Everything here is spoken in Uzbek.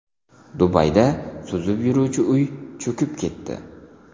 Dubayda suzib yuruvchi uy cho‘kib ketdi.